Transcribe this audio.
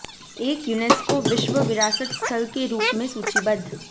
एक यूनेस्को विश्व विरासत स्थल के रूप में सूचीबद्ध